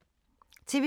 TV 2